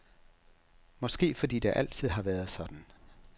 Måske fordi det altid har været sådan?